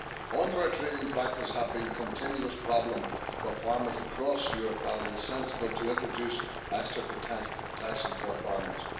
Unfair trading practices have been a continuous problem for farmers across Europe and it is sensible to introduce extra protection for farmers.